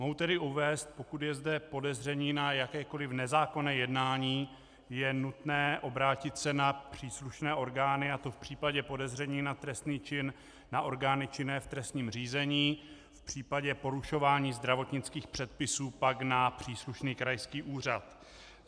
Mohu tedy uvést, pokud je zde podezření na jakékoliv nezákonné jednání, je nutné obrátit se na příslušné orgány, a to v případě podezření na trestný čin na orgány činné v trestním řízení, v případě porušování zdravotnických předpisů pak na příslušný krajský úřad.